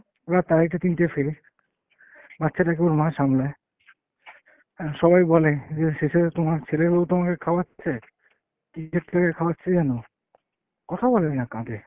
রাত আড়াইটে তিনটেয় ফেরে, বাচ্চাটাকে ওর মা সামলায়। অ্যাঁ সবাই বলে যে শেষে তোমার ছেলের বৌ তোমাকে খাওয়াচ্ছে! কী থেকে খাওয়াচ্ছে জানো? কথা বলে না কাঁদে।